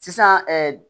Sisan